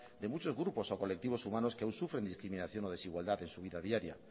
de muchos grupos o colectivos humanos que aún sufren discriminación o desigualdad en su vida diaria